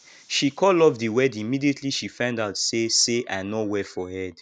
she call off the wedding immediately she find out say say i no well for head